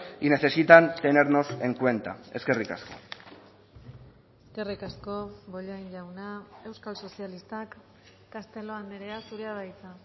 y necesitan tenernos en cuenta eskerrik asko eskerrik asko bollain jauna euskal sozialistak castelo andrea zurea da hitza